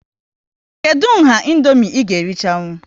Kedụ nha Indomie ị ga erichanwu?